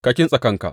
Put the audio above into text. Ka kintsa kanka!